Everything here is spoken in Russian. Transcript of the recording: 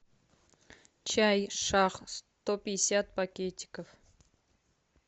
чай шах сто пятьдесят пакетиков